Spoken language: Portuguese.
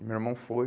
E meu irmão foi.